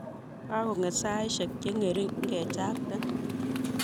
Kakong'et saishek cheng'ering', ngechakte.